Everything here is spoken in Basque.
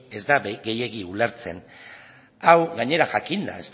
ez da gehiegi ulertzen hau gainera jakinda